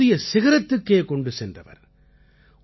இதை ஒரு புதிய சிகரத்துக்குக் கொண்டு சென்றவர்